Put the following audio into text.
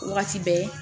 Wagati bɛɛ